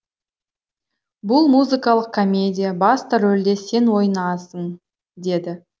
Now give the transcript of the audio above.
бұл музыкалық комедия басты рөлде сен ойнайсың деді